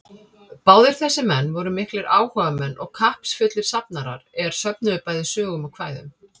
Báðir þessir menn voru miklir áhugamenn og kappsfullir safnarar, er söfnuðu bæði sögum og kvæðum.